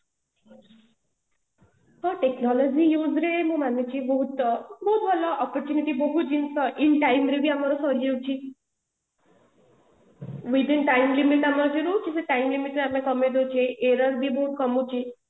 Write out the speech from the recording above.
ତ technology use ରେ ମୁଁ ମାନୁଛି ବହୁତ ଅ ବହୁତ ଭଲ opportunity ବହୁତ ଜିନିଷ in time ରେ ବି ଆମର ସରିଯାଉଛି within time limit ରୁ ଆମେ କମେଇ ଦୋଉଛେ error ବି ବହୁତ କମୁଛି